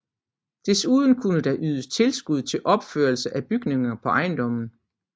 Desuden kunne der ydes tilskud til opførelse af bygninger på ejendommen